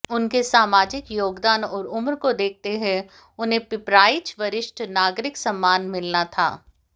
उनके सामाजिक योगदान और उम्र को देखते हुये उन्हें पिपराइच वरिष्ठ नागरिक सम्मान मिलना था